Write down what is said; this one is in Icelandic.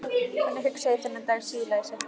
Þannig hugsaði ég þennan dag síðla í september.